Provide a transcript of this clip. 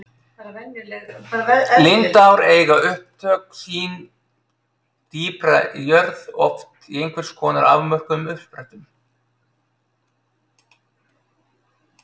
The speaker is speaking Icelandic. Lindár eiga upptök sín dýpra í jörð, oft í einhvers konar afmörkuðum uppsprettum.